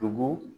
Tugu